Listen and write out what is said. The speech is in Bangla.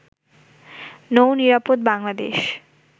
নৌ-নিরাপদ বাংলাদেশ